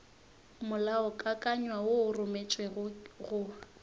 molaokakanywa wo o rometšwego go